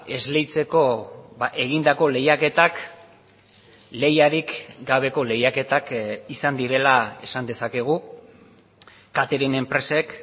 esleitzeko egindako lehiaketak lehiarik gabeko lehiaketak izan direla esan dezakegu catering enpresek